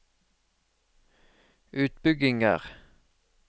utbygginger